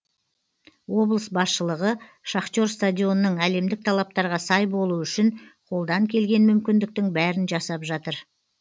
облыс басшылығы шахтер стадионының әлемдік талаптарға сай болуы үшін қолдан келген мүмкіндіктің бәрін жасап жатыр